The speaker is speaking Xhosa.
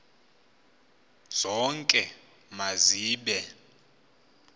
zonke ma zibe